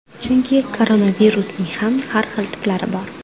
Chunki koronavirusning ham har xil tiplari bor.